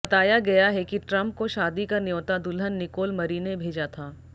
बताया गया है कि ट्रम्प को शादी का न्योता दुल्हन निकोल मरी ने भेजा था